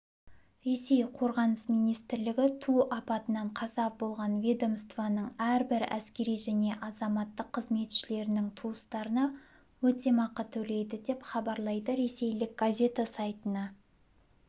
ресей қорғаныс министрлігі ту апатынан қаза болған ведомстваның әрбір әскери және азаматтық қызметшілерінің туыстарына өтемақы төлейді деп хабарлайды ресейлік газета сайтына